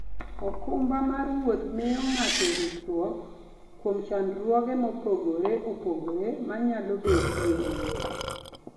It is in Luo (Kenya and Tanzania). okumba mar wuoth miyo ng'ato ritruok kuom chandruoge mopogore opogore manyalo betie e wuoth.